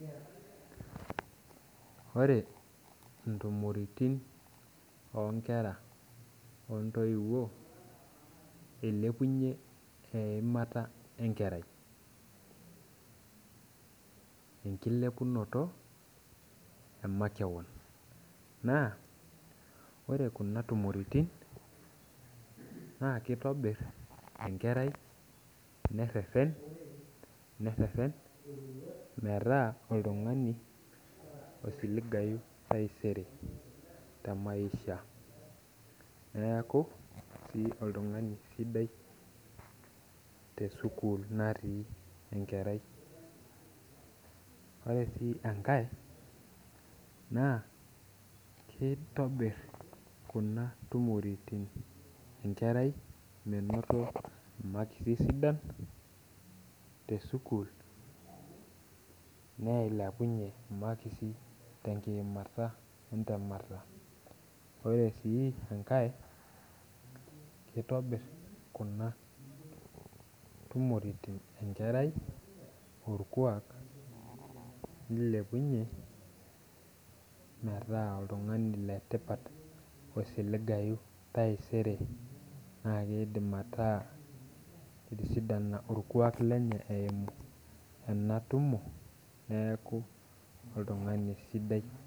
Ore ntumoritin onkera ontoiwuo inepunye eimata enkerai enkilepunoto emakeon na ore kuna tumoritin na kitobir enkerai nereren metaa oltungani osiligai taisere te maisha neaku keyieu tesukul natii enkerai ore si enkae na kitobir kuna tumoritin miboto makisi sidan nilepunye makisi tenkileputo elukunya ore si enkae itobir kuna tumoritin enkerai orkuak nikepunye metaa oltungani letipat taisere na kidim ataa etisidana orkuak lenye eimu ena tumo neaku oltungani sidai.